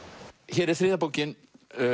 hér er þriðja bókin